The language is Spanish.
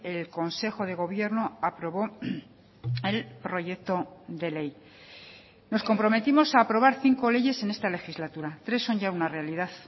el consejo de gobierno aprobó el proyecto de ley nos comprometimos a aprobar cinco leyes en esta legislatura tres son ya una realidad